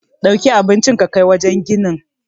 Dauki ka kai abincin wajen ginin.